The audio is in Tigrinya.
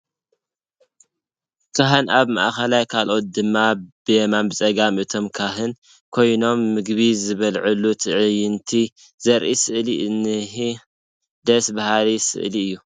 ካህን ኣብ ማእኸል ካልኦት ድማ ብየማነ ፀጋም እቶም ካህን ኮይኖም ምግቢ ዝበልዕሉ ትዕይንት ዘርኢ ስእሊ እኒሀ፡፡ ደስ በሃሊ ስእሊ እዩ፡፡